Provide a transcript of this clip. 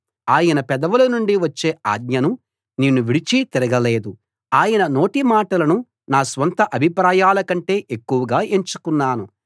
ఆయన పెదవుల నుండి వచ్చే ఆజ్ఞను నేను విడిచి తిరగలేదు ఆయన నోటిమాటలను నా స్వంత అభిప్రాయాల కంటే ఎక్కువగా ఎంచుకున్నాను